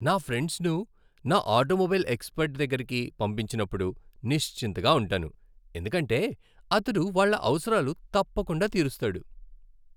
నా ఫ్రెండ్స్ను నా ఆటోమొబైల్ ఎక్స్పర్ట్ దగ్గరకి పంపించినప్పుడు నిశ్చింతగా ఉంటాను ఎందుకంటే అతడు వాళ్ళ అవసరాలు తప్పకుండా తీరుస్తాడు.